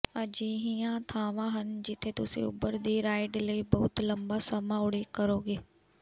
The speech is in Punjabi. ਅਜਿਹੀਆਂ ਥਾਵਾਂ ਹਨ ਜਿੱਥੇ ਤੁਸੀਂ ਉਬਰ ਦੀ ਰਾਈਡ ਲਈ ਬਹੁਤ ਲੰਬਾ ਸਮਾਂ ਉਡੀਕ ਕਰੋਗੇ